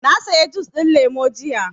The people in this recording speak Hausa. Na saya jus ɗin lemu jiya